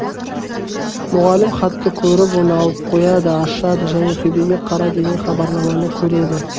мұғалім хатты көріп оны алып қояды ашады және төбеге қара деген хабарламаны көреді